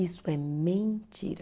Isso é mentira.